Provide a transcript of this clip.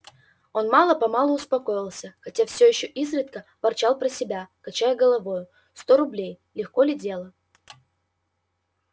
он мало-помалу успокоился хотя все ещё изредка ворчал про себя качая головою сто рублей легко ли дело